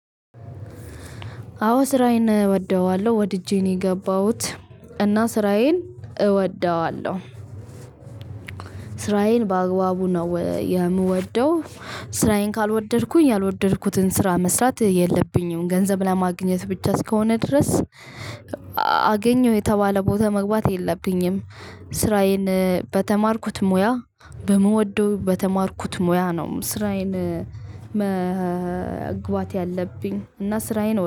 አዎ ስራዬን እወደዋለሁ ወድጄ ነው የገባሁት እና ስራዬን እወደዋለሁ። ስራዬን በአግባቡ ነው የምወደው። ስራዬን ካልወደድኩኝ ያልወደድኩትን ስራ መስራት የለብኝም ገንዘብ ለማግኘት ብቻ እስከሆነ ድረስ። አገኘው የተባለ ቦታ መግባት የለብኝም። ስራዬን በተማርኩት ሙያ በምወደው በተማርኩት ሙያ ነው ስራዬን። መግባት ያለብኝ እና ስራዬን